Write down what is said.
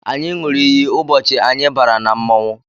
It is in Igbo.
Anyị ṅụrụ iyi ụbọchị anyị bara na mmọnwụ